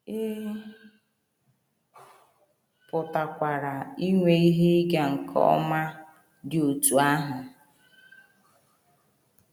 Ị pụkwara inwe ihe ịga nke ọma dị otú ahụ.